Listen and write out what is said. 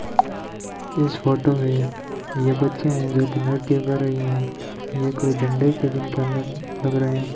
इस फोटो में ये बच्चे हैं जो की नृत्य कर रही है ये कोई झंडे के दिन का नृत्य लग रहे हैं।